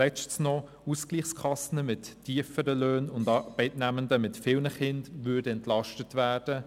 Viertens: Ausgleichskassen mit tieferen Löhnen und Arbeitnehmenden mit vielen Kindern würden entlastet werden.